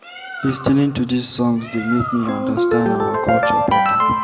Lis ten ing to these songs dey make me understand our culture beta.